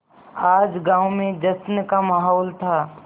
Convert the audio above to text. आज गाँव में जश्न का माहौल था